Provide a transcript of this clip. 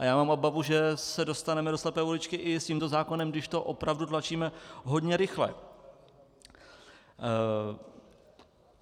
A já mám obavu, že se dostaneme do slepé uličky i s tímto zákonem, když to opravdu tlačíme hodně rychle.